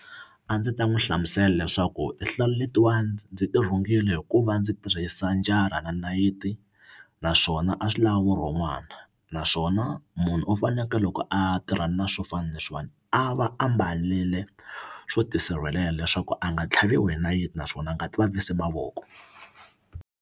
A ndzi ta n'wi hlamusela leswaku tinhlalu letiwani ndzi tirhungiwile hikuva ndzi tirhisa njara na nayiti naswona a swi lava vurhon'wana naswona munhu u fanekele loko a tirhana na swo fana na leswiwani a va a mbalele swo tisirhelela leswaku a nga tlhaviwi hi nayiti naswona a nga ti vavisi mavoko.